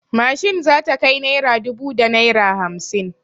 Mashin za ta kai naira dubu da naira hamsin.